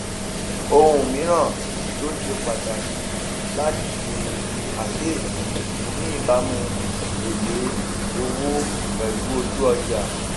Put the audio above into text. ohun míràn tó ṣe pàtàkì láti ṣe àkíyèsí ni ìbámu èlé owó pèlú ojú ọjà